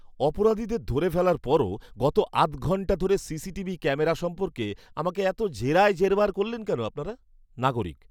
অপরাধীদের ধরে ফেলার পরও গত আধঘন্টা ধরে সিসিটিভি ক্যামেরা সম্পর্কে আমাকে এত জেরায় জেরবার করলেন কেন আপনারা? নাগরিক